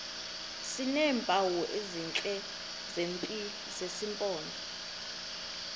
sineempawu ezithile zesimpondo